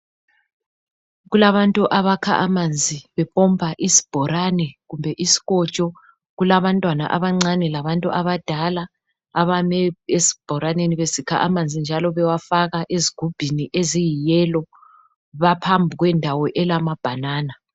Kulabantu abakha amanzi bepompa isibhorane kumbe isikotsho. Kulabantwana abancane labantu abadala abeme esiboraneni besikha amanzi njalo bewafaka ezigubhini eziyi yelo. Baphambi kwendawo elama banana.